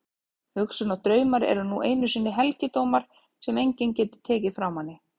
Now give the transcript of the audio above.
Hugsun og draumar eru nú einu sinni helgidómar sem enginn getur tekið frá manni.